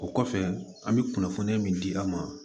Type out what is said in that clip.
O kɔfɛ an bɛ kunnafoniya min di an ma